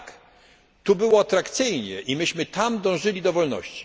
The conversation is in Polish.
Tak, tu było atrakcyjnie, a my tam dążyliśmy do wolności.